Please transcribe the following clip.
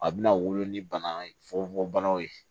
A bɛna wolo ni bana fogofogobanaw ye